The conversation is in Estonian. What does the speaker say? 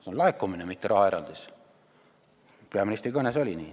See on laekumine, mitte rahaeraldis – peaministri kõnes oli nii.